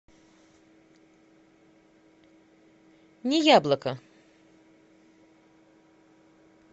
неяблоко